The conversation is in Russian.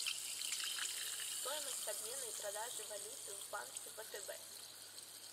стоимость обмена и продажи валюты в банке втб